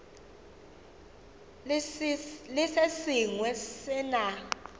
le se sengwe se na